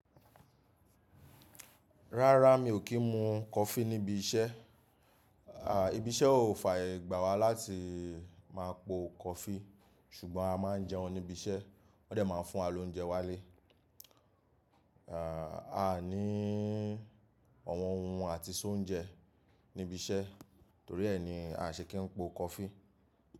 Rárá mi ò kí ń mu coffee níbi iṣẹ́. À, ibi iṣẹ́ ò fààyè gbà wá láti máa po coffee ṣùgbọ́n a máa ń jẹun níbi iṣẹ́ wọ́n dẹ̀ máa ń fún wa lóúnjẹ wálé. À, a ní àwọn ohun àti sóúnjẹ níbi iṣẹ́ torí ẹ ni a ṣe kì í po coffee.